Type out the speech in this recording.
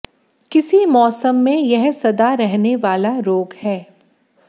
किसी मौसम में यह सदा रहने वाला रोग है